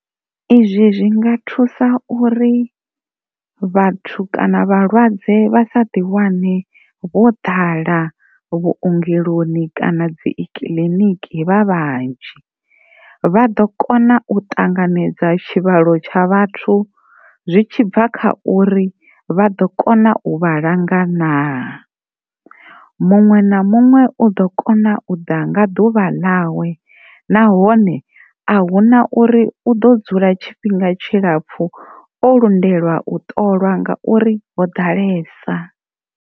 Izwi zwi nga thusa uri vhathu kana vhalwadze vha sa ḓi wane vho ḓala vhuongeloni kana dzikiḽiniki vha vhanzhi vha ḓo kona u ṱanganedza tshivhalo tsha vhathu zwi tshi bva kha uri vha ḓo kona u vha langa na, muṅwe na muṅwe u ḓo kona u ḓa nga ḓuvha ḽawe nahone ahuna uri u ḓo dzula tshifhinga tshilapfhu o lindela u ṱolwa ngauri ho ḓalesa.